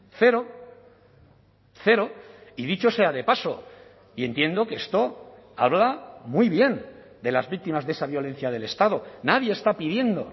cero cero y dicho sea de paso y entiendo que esto habla muy bien de las víctimas de esa violencia del estado nadie está pidiendo